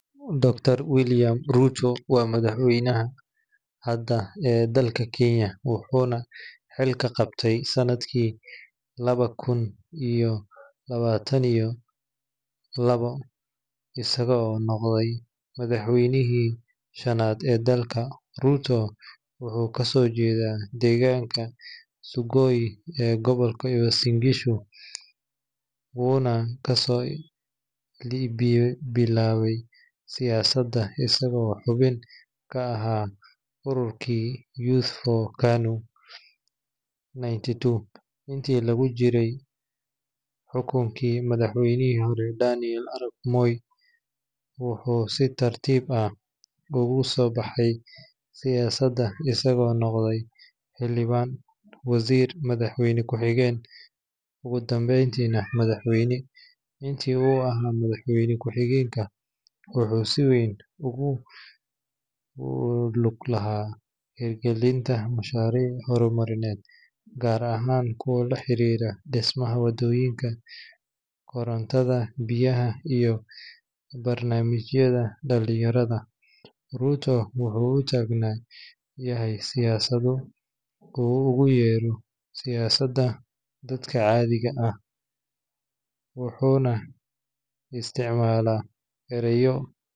Dr. William Samoei Ruto waa madaxweynaha hadda ee dalka Kenya wuxuuna xilka qabtay sanadkii laba kun iyo labaatan iyo laba, isagoo noqday madaxweynihii shanaad ee dalka. Ruto wuxuu kasoo jeedaa deegaanka Sugoi ee gobolka Uasin Gishu, wuxuuna kasoo bilaabay siyaasadda isagoo xubin ka ahaa ururkii Youth for KANU 92 intii lagu jiray xukunkii madaxweynihii hore Daniel Arap Moi. Wuxuu si tartiib ah ugu soo baxay siyaasadda isagoo noqday xildhibaan, wasiir, madaxweyne ku xigeen, ugu dambeyntiina madaxweyne. Intii uu ahaa madaxweyne ku xigeenka, wuxuu si weyn ugu lug lahaa hirgelinta mashaariic horumarineed, gaar ahaan kuwa la xiriira dhismaha wadooyinka, korontada baadiyaha iyo barnaamijyada dhalinyarada. Ruto wuxuu u taagan yahay siyaasadda uu ugu yeero “siyaasadda dadka caadiga ah” wuxuuna isticmaalaa erayo.